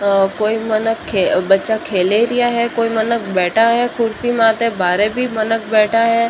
कोई मन बच्चा खेल रिया है कोई मन बैठा है कुर्सी मात बाहर भी मनक बैठा है।